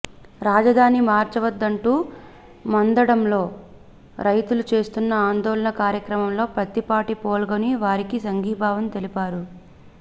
రాజధాని మార్చవద్దంటూ మందడంలో రైతులు చేస్తున్న ఆందోళన కార్యక్రమంలో పత్తిపాటి పాల్గొని వారికి సంఘీభావం తెలిపారు